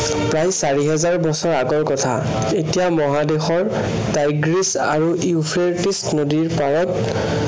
প্ৰায় চাৰি হাজাৰ বছৰৰ আগৰ কৰা। এচিয়া মহাদেশৰ চাইগ্ৰাচ আৰু ইউফ্ৰেটিচ নদীৰ পাৰত